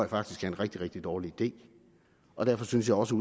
faktisk er en rigtig rigtig dårlig idé og derfor synes jeg også